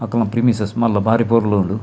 ಅಕಲ್ನ ಪ್ರಿಮಿಸಸ್ ಮಲ್ಲ ಬಾರಿ ಪೊರ್ಲು ಉಂಡು.